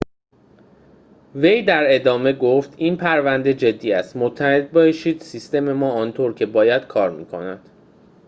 وی در ادامه گفت این پرونده جدی است مطمئن باشید سیستم ما آنطور که باید کار می‌کند